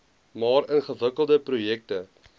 maar ingewikkelde projekte